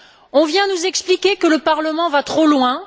On vient nous expliquer que le Parlement va trop loin.